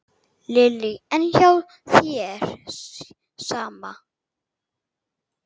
Lillý: En hjá þér, sama?